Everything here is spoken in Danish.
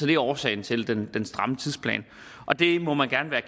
det er årsagen til den stramme tidsplan og det må man gerne være